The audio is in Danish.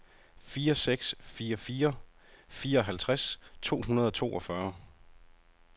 fire seks fire fire fireoghalvtreds to hundrede og toogfyrre